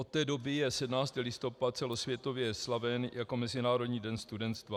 Od té doby je 17. listopad celosvětově slaven jako Mezinárodní den studenstva.